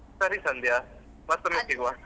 ಸರಿ ಸಂಧ್ಯಾ ಮತೊಮ್ಮೆ ಸಿಗುವ.